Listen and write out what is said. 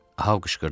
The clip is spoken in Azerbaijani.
A qışqırdı.